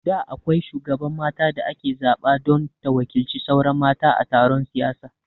Da akwai shugaban mata da ake zaɓa don ta waƙilci sauran mata a taron siyasa